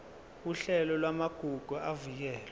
uhlelo lwamagugu avikelwe